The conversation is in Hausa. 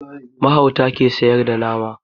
Mahauta ke sayar da nama